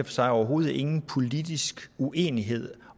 sig overhovedet ingen politisk uenighed